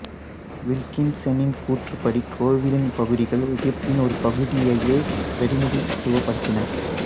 வில்கின்சனின் கூற்றுப்படி கோவிலின் பகுதிகள் எகிப்தின் ஒரு பகுதியையே பிரதிநிதித்துவப்படுத்தின